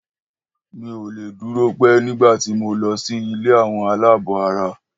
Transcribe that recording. Mi ò le dúró pẹ́ nígbà tí mo lọ sí ilé àwọn aláàbọ̀ara.